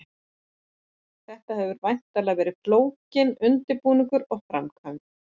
Þetta hefur væntanlega verið flókinn undirbúningur og framkvæmd?